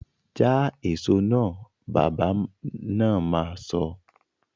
Ja èso náà! Bàbá na ma sọ